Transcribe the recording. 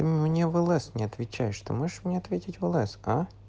мне в лс не отвечаешь ты можешь мне ответить в лс а